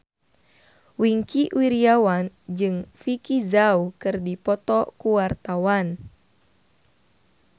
Wingky Wiryawan jeung Vicki Zao keur dipoto ku wartawan